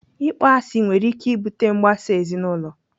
Ịkpọ asị nwere ike ibute mgbasa ezinaụlọ.